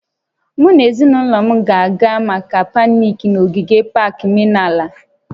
Mụ na ezinụlọ m ga-aga maka pikniiki n'ogige pak menala